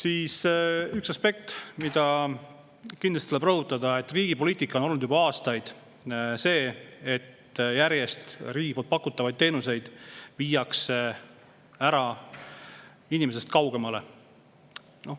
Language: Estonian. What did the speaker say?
On üks aspekt, mida kindlasti tuleb rõhutada: riigi poliitika on olnud juba aastaid see, et riigi pakutavaid teenuseid viiakse järjest ära inimestest kaugemale.